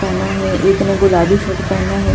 पहना हैं एक ने गुलाबी सूट पहना हैं दो बड़े--